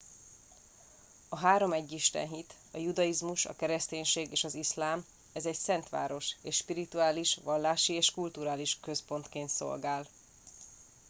a három egyistenhit a judaizmus a kereszténység és az iszlám ez egy szent város és spirituális vallási és kulturális központként szolgál